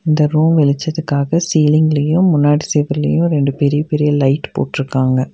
இந்த ரூம் வெளிச்சத்துக்காக சீலிங்லையு முன்னாடி செவிர்லையு ரெண்டு பெரிய பெரிய லைட் போட்ருக்காங்க.